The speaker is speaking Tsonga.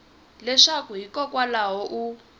leswaku hikokwalaho ka yini u